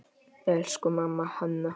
Elsku amma Hanna.